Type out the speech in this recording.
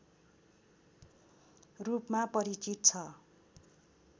रूपमा परिचित छ